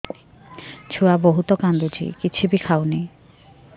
ଛୁଆ ବହୁତ୍ କାନ୍ଦୁଚି କିଛିବି ଖାଉନି